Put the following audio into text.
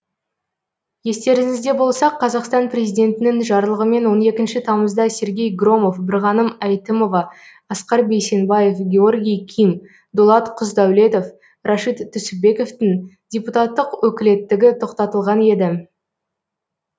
естеріңізде болса қазақстан президентінің жарлығымен он екінші тамызда сергей громов бірғаным әйтімова асқар бейсенбаев георгий ким дулат құсдәулетов рашид түсіпбековтің депутаттық өкілеттігі тоқтатылған еді